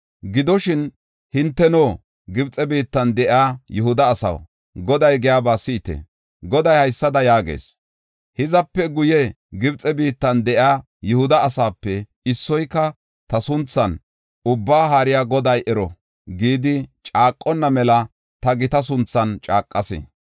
“Gidoshin, hinteno, Gibxe biittan de7iya Yihuda asaw, Goday giyaba si7ite! Goday haysada yaagees; ‘Hizape guye Gibxe biittan de7iya Yihuda asaape issoyka ta sunthan, “Ubbaa Haariya Goday ero” ’ gidi caaqonna mela ta gita sunthan caaqas.